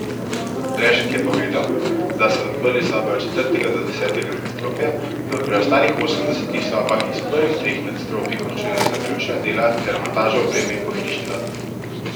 Rešek je povedal, da so odprli sobe od četrtega do desetega nadstropja, v preostalih osemdesetih sobah iz prvih treh nadstropij končujejo zaključna dela ter montažo opreme in pohištva.